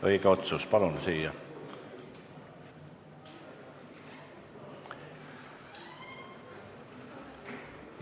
Õige otsus, palun siia!